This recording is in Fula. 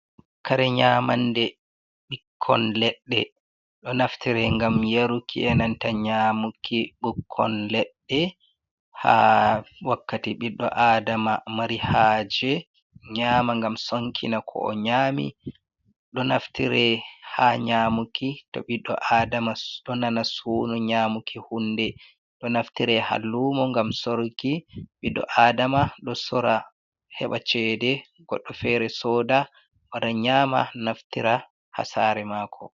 Kare nyamannde, ɓikkon leɗɗe ɗo naftire ngam yaruki e nanta nyaamuki ɓukkon leɗɗe, haa wakkati ɓiɗɗo aadama mari haaje nyaama ngam sonkina ko o nyaami. Ɗo naftiree haa nyaamuki to ɓiɗɗo aadama ɗo nana suuno nyaamuki huunde, ɗo naftire haa luumo ngam sorki ɓiɗɗo aadama ɗo sora heɓa ceede goɗɗo feere sooda wara nyaama naftira haa sare maako.